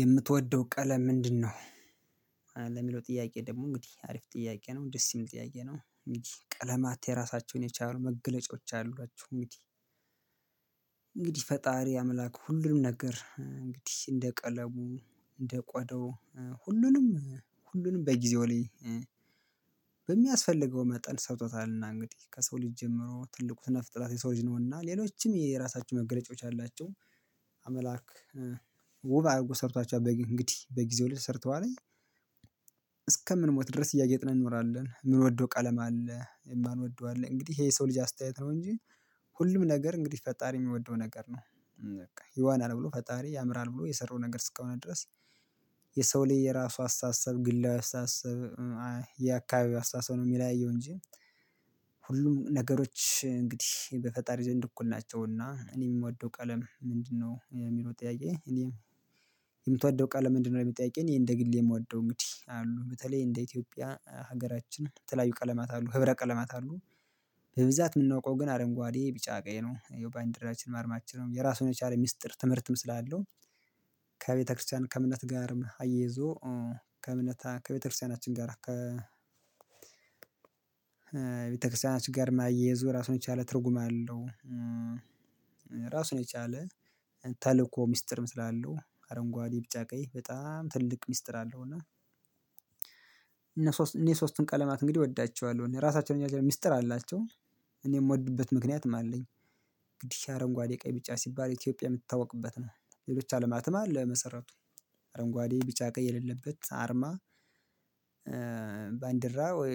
የምትወደው ቀለም ምንድነው? ለሚለው ጥያቄ ደግሞ እንግዲህ አሪፍ ጥያቄ ነው ደስ የሚል ጥያቄ ነው እንግዲህ ቀለማት የራሳቸውን የቻሉ መገለጫዎች አሏቸው እንግዲህ። እንግዲህ ፈጣሪ አምላክ ሁሉንም ነገር እንግዲህ እንደ ቀለሙ እንደ ቆዳው ሁሉንም ሁሉንም በጊዜው ላይ በሚያስፈልገው መጠን ሰርቶታል እና እንግዲህ ከሰው ልጅ ጀምሮ ትልቁ ስነ ፍጥረት የሰው ልጅ ነውና ሌሎችም የየራሳቸው መገለጫዎች አላቸው። አምላክ ውብ አርጎ ሰርቷቸዋል በጊ እንግዲህ በጊዜው ልጅ ሰርተዋለኝ። እስከምንሞት ድረስ እያጌጥን እንኖራለን ምንወደው ቀለም አለ የማንወደው አለ እንግዲህ ይሄ የሰው ልጅ አስተያየት ነው። እንጂ ሁሉም ነገር እንግዲህ ፈጣሪ የሚወደው ነገር ነው። በቃ ይዋናል ብሎ ፈጣሪ ያምራል ብሎ የሰራው ነገር እስከሆነ ድረስ። የሰው ላይ የራሱ አስተሳሰብ ግላዊ አስተሳሰብ የአካባቢው አስተሳሰብ ነው የሚል አየው እንጂ። ሁሉም ነገሮች እንግዲህ በፈጣሪ ዘንድ እኩል ናቸውና። እኔ የምወደው ቀለም ምንድነው የሚሮጥ ያየህ እኔም ምትወደው ቀለም ምንድነው ብለህ ብጠይቀኝ እኔ እንደ ግሌ የምዋደው እንግዲህ አሉ በተለይ እንደ ኢትዮጵያ ሀገራችን በተለያዩ ቀለማት አሉ ህብረ ቀለማት አሉ። የምናውቀው ግን አረንጓዴ ቢጫ ቀይ ነው የባንዲራችን አርማችን ነው የራሱን የቻለ ሚስጥር ትምህርትም ስላለው። ከቤተክርስቲያን ከእምነት ጋርም አያይዞ ከእምነት ከቤተክርስቲያናችን ጋራ ከ ቤተክርስቲያናችን ጋር ማያያዙ ራሱን የቻለ ትርጉም አለው። ራሱን የቻለ ሚስጥር ስላለው አረንጓዴ ቢጫ ቀይ በጣም ትልቅ ሚስጥር አለው እና። እኔ ሶስቱን ቀለማት እንግዲህ እወዳቸዋለሁ እኔ ራሳቸውን የሚስጥር አላቸው እኔ የምወድበት ምክንያትም አለኝ። እንግዲ አረንጓዴ ቀይ ቢጫ ሲባል ኢትዮጵያ የምትታወቅበት ነው ሌሎች አለማትም አለ መሰረቱ አረንጓዴ ቢጫ ቀይ የሌለበት አርማ። ባንዲራ ወይ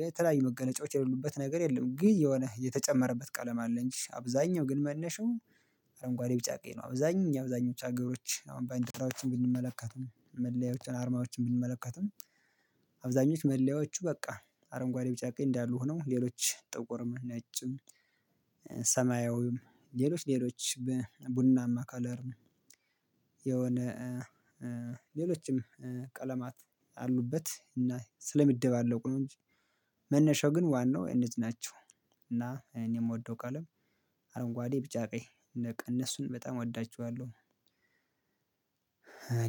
የተለያዩ መገለጫዎች የሌሉበት ነገር የለም። ግን የሆነ የተጨመረበት ቀለም አለ እንጂ አብዛኛው ግን መነሻው አረንጓዴ ቢጫ ቀይ ነው አብዛኛው የአብዛኞቹ አገሮች አሁን ባንዲራዎችን ብንመለከትም መለያዎችን አርማዎችን ብንመለከትም። አብዛኞች መለያዎቹ በቃ አረንጓዴ ቢጫ ቀይ እንዳሉ ሆነው ሌሎች ጥቁርም ነጭም ሰማያዊም ሌሎች ሌሎች በቡናማ ከለር። የሆነ ቀለማት አሉበት እና ስለሚደባለቁ ነው እንጂ መነሻው ግን ዋናው እነዚህ ናቸው እና እኔም የምወደው ቀለም አረንጓዴ ቢጫ ቀይ በቃ እነሱን በጣም እወዳቸዋለሁ።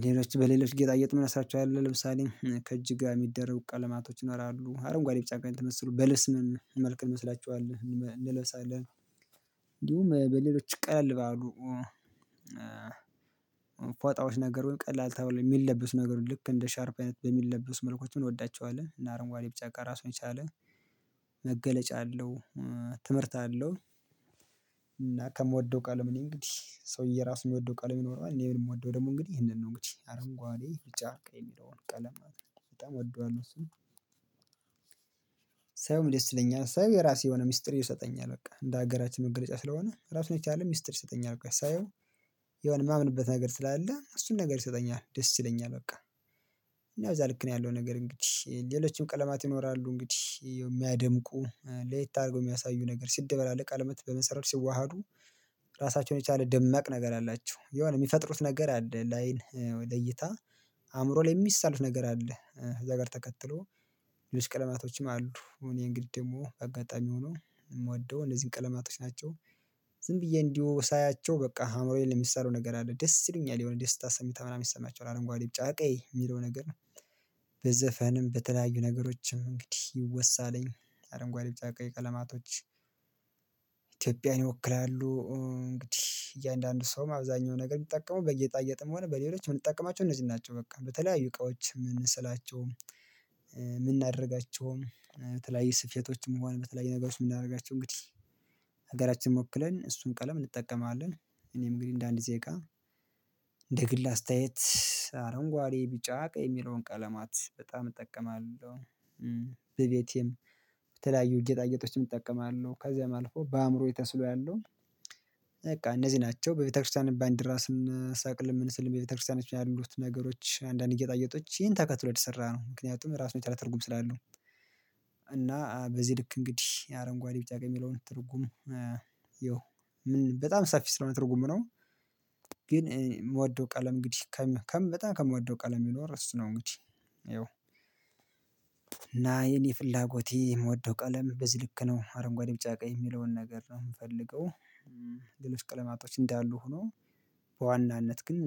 ሌሎች በሌሎች ጌጣዬጥ ምን እነሳቸዋለሁ ለምሳሌ ከእጅህ ጋር የሚደረጉ ቀለማቶች ይኖራሉ አረንጓዴ ቢጫ ቀይ ጋር ተመስሎ በልብስም መልክ እንመስላችኋለን እንለብሳለን። እንዲሁም በሌሎች ቀለል ባሉ ፎጣዎች ነገር ወይም ቀላል ተብለው ሚለብሱ ነገሮች ልክ እንደ ሻርፕ አይነት በሚለብሱ መልኮች እንወዳቸዋለን እና አረንጓዴ ቢጫ ቀይ ራሱን የቻለ መገለጫ አለው። ትምህርት አለው። እና ከምወደው ቃል ነው እንግዲህ ሰውዬ ራሱ የምወደው ቃል ነው የሚኖረው እኔ የምወደው ደግሞ እንግዲህ ይሄንን ነው እንግዲህ አረንጓዴ ቢጫ ቀይ የሚለውን ቀለም ማለትነው በጣም እወደዋለሁ እሱን። ሳየውም ደስ ይለኛል ሳየው የራሱ የሆነ ሚስጥር ይሰጠኛል በቃ እንደ ሀገራችን መገለጫ ስለሆነ ራሱ የቻለ ሚስጥር ይሰጠኛል በቃ ሳየው የሆነ የማምንበት ነገር ስላለ እሱን ነገር ይሰጠኛል ደስ ይለኛል በቃ። እና እዛ ልክ ነው ያለው ነገር እንግዲህ ሌሎችም ቀለማት ይኖራሉ እንግዲህ የሚያደምቁ ለየት አርጎ የሚያሳዩ ነገር ሲደበላለቅ ቀለማት በመሰረቱ ሲዋሃዱ ራሳቸውን የቻለ ደማቅ ነገር አላቸው። የሆነ የሚፈጥሩት ነገር አለ ላይን ለይታ አእምሮ ላይ የሚሳል ነገር አለ። እዛ ጋር ተከትሎ ልጅ ቀለማቶችም አሉ እኔ እንግዲህ ደግሞ አጋጣሚ ሆኖ የምወደው እነዚህን ቀለማቶች ናቸው። ዝም ብዬ እንዲሁ ሳያቸው በቃ አእምሮዬን የሚሰሩ ነገር አለ ደስ ይሉኛል የሆነ ደስታ ስምታ ምናምን ይሰማቸዋል አረንጓዴ ቢጫ ቀይ የሚለው ነገር። ነው በተለያዩ ነገሮችም እንግዲህ ይወሳለኝ አረንጓዴ ቢጫ ቀይ ቀለማቶች ኢትዮጵያን ይወክላሉ። እንግዲህ እያንዳንዱ ሰውም አብዛኛው ነገር የሚጠቀሙ በጌጣጌጥም ሆነ በሌሎች የምንጠቀማቸው እነዚህ ናቸው በቃ በተለያዩ እቃዎች ምንስላቸው ምናደርጋቸውም ተለያየ ስፌቶችም ሆነ በተለያየ ነገሮች የምናደርጋቸው እንግዲህ ሀገራችን ወክለን እሱን ቀለም እንጠቀማለን። እኔም እንግዲህ እንደ አንድ ዜጋ እንደ ግል አስተያየት አረንጓዴ ቢጫ ቀይ የሚለውን ቀለማት በጣም እጠቀማለሁ። በቤቴም በተለያዩ ጌጣጌጦችም እጠቀማለሁ ከዚያም አልፎ በአእምሮዬ ተስሎ ያለው በቃ እነዚህ ናቸው በቤተክርስቲያን ባንዲራ ስንሰቅልም ምን ስንል በቤተክርስቲያኖች ያሉት ነገሮች አንዳንድ ጌጣጌጦች ይሄን ተከትሎ የተሰራ ነው ምክንያቱም ራሱን የቻለ ትርጉም ስላለው። እና በዚህ ልክ እንግዲህ አረንጓዴ ቢጫ ቀይ የሚለውን ትርጉሙ ይኸው በጣም ሰፊ ስለሆነ ትርጉም ነው። ግን ምወደው ቀለም እንግዲህ ከም ከም በጣም ከምወደው ቀለም ቢኖር እሱ ነው እንግዲህ። ይኸው እና የኔ ፍላጎት የምወደው ቀለም በዚ ልክ ነው አረንጓዴ ቢጫ ቀይ የሚለውን ነገር ነው ምፈልገው። ሌሎች ቀለማቶች እንዳሉ ሆኖ በዋናነት ግን